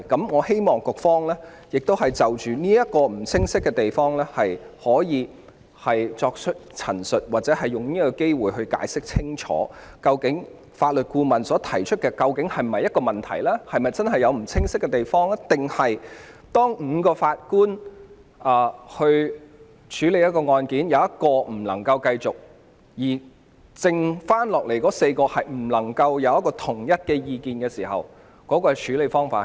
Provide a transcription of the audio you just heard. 我希望局方可以就這個不清晰之處作出陳述，或藉此機會清楚解釋，究竟法律顧問提出的情況是否存在問題或不清晰之處，以及在5名法官中有1人無法繼續審理案件，而餘下4名法官又無法達成統一意見時，將有何處理方法。